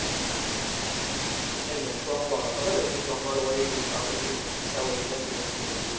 ઈમ ના લાયા song વાળો ખબર હ જે song વાળો વોય હી અપડે મુકાતો બધા status મો એવી રીતે